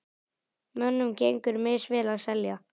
Mönnum gengur misvel að selja.